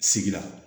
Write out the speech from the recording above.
Sigi la